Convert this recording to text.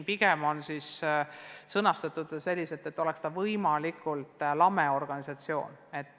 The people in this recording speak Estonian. Pigem on eesmärk, et tekiks võimalikult lame organisatsioon.